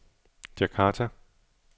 Djakarta